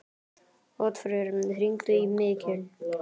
Oddfreyr, hringdu í Mikil.